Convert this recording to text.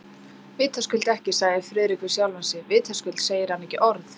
Vitaskuld ekki, sagði Friðrik við sjálfan sig, vitaskuld segir hann ekki orð.